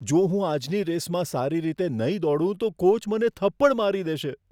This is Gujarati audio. જો હું આજની રેસમાં સારી રીતે નહીં દોડું તો કોચ મને થપ્પડ મારી દેશે.